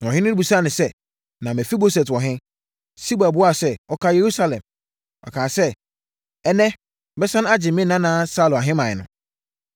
Na ɔhene no bisaa no sɛ, “Na Mefiboset wɔ he?” Siba buaa sɛ, “Ɔkaa Yerusalem. Ɔkaa sɛ, ‘Ɛnnɛ, mɛsane agye me nana Saulo ahemman no.’ ”